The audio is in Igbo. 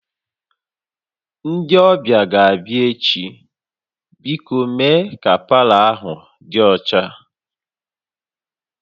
Ndị ọbịa ga-abịa echi, biko mee ka palọ ahụ dị ọcha